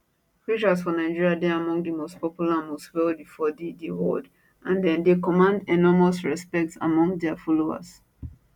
preachers for nigeria dey among di most popular and most wealthy for di di world and dem dey command enormous respect among dia followers